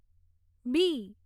બી